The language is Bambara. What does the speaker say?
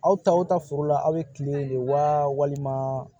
Aw taw ta foro la aw bɛ kile de walima